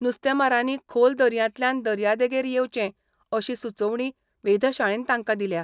नुस्तेमारांनी खोल दर्यांतल्यान दर्यादेगेर येवचें अशी सुचोवणी वेधशाळेन तांकां दिल्या.